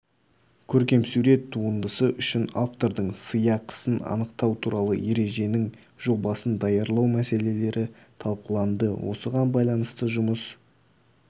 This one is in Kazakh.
көркемсурет туындысы үшін автордың сыйақысын анықтау туралы ереженің жобасын даярлау мәселелері талқыланды осыған байланысты жұмыс